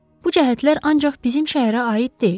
Bu cəhətlər ancaq bizim şəhərə aid deyil.